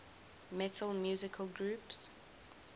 metal musical groups